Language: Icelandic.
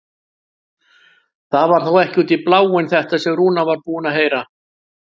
Það var þá ekki út í bláinn þetta sem Rúna var búin að heyra!